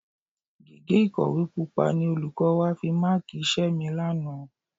Gègé ìkọ̀wé Pupa ni olùkọ́ wa fi máàkì iṣẹ́ mi lánàá